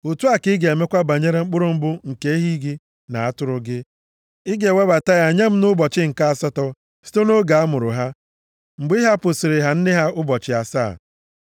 Otu a ka ị ga-emekwa banyere mkpụrụ mbụ nke ehi gị na atụrụ gị. Ị ga-ewebata ya nye m nʼụbọchị nke asatọ site nʼoge a mụrụ ha, mgbe ị hapụsịrị ha nne ha ụbọchị asaa.